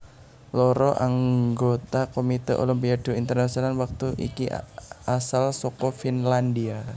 Loro anggota Komite Olimpiade Internasional wektu iki asal saka Finlandia